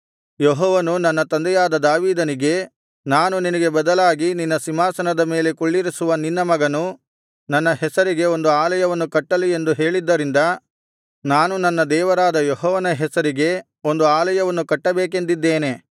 ಯೆಹೋವನು ನನ್ನ ತಂದೆಯಾದ ದಾವೀದನಿಗೆ ನಾನು ನಿನಗೆ ಬದಲಾಗಿ ನಿನ್ನ ಸಿಂಹಾಸನದ ಮೇಲೆ ಕುಳ್ಳಿರಿಸುವ ನಿನ್ನ ಮಗನು ನನ್ನ ಹೆಸರಿಗೆ ಒಂದು ಆಲಯವನ್ನು ಕಟ್ಟಲಿ ಎಂದು ಹೇಳಿದ್ದರಿಂದ ನಾನು ನನ್ನ ದೇವರಾದ ಯೆಹೋವನ ಹೆಸರಿಗೆ ಒಂದು ಅಲಯವನ್ನು ಕಟ್ಟಬೇಕೆಂದಿದ್ದೇನೆ